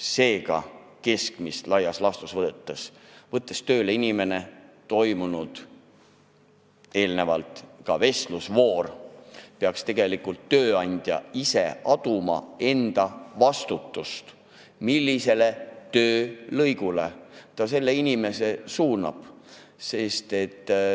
Seega, keskmiselt võttes, kui võetakse tööle inimene, on eelnevalt toimunud vestlusvoor ja tööandja peaks ise aduma enda vastutust, otsustades, millisele töölõigule ta selle inimese suunab.